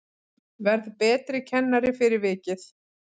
Verð betri kennari fyrir vikið